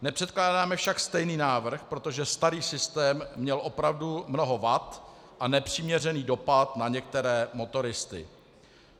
Nepředkládáme však stejný návrh, protože starý systém měl opravdu mnoho vad a nepřiměřený dopad na některé motoristy.